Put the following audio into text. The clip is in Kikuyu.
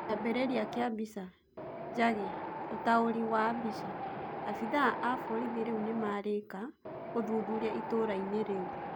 Kĩambĩrĩria kĩa mbica: Njagi, ũtaũri wa mbica, abithaa a borithi rĩu nĩmarĩka ũthuthuria itũrainĩ rĩu